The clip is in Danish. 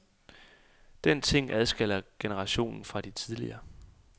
Den ting adskiller generationen fra alle tidligere.